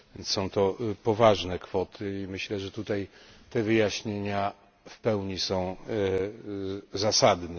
Są to poważne kwoty i myślę, że tutaj te wyjaśnienia w pełni są zasadne.